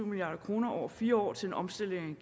milliard kroner over fire år til en omstilling